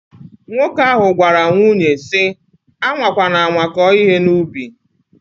Nwoke ahu gwara nwunye si: Anwa kwana anwa ko ihe na ubi!